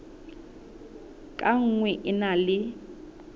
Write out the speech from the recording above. ka nngwe e na le